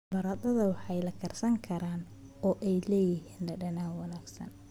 Baradho waxay la karsan karaan oo leeyihiin dhadhan wanaagsan.